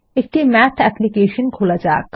একটি math application খোলা যাক